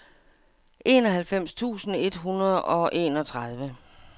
enoghalvfems tusind et hundrede og enogtredive